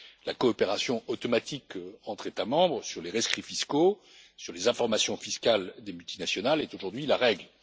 La coopération automatique entre États membres sur les rescrits fiscaux et sur les informations fiscales des multinationales est aujourd'hui la règle.